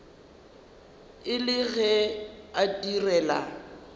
e le ge a direla